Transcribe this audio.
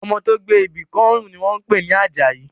Ọmọ tó gbé ibi kọ́ ọrùn ni wọ́n ń pè ní Àjàyí